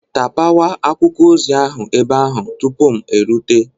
Tapawa akwụkwọ ozi ahụ ebe ahụ tupu m erute!.